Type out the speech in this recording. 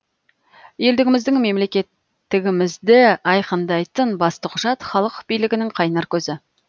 елдігіміздің мемлекеттігімізді айқындайтын басты құжат халық билігінің қайнар көзі